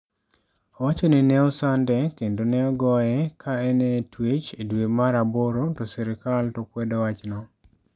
Owacho ni ne osande kendo ne ogoye ka en e twech e dwe mar aboro, to sirkal to kwedo wachno.